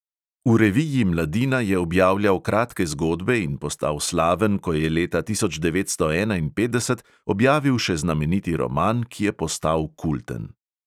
V reviji mladina je objavljal kratke zgodbe in postal slaven, ko je leta tisoč devetsto enainpetdeset objavil še znameniti roman, ki je postal kulten.